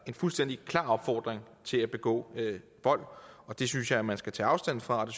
fuldstændig klar opfordring til at begå vold det synes jeg man skal tage afstand fra og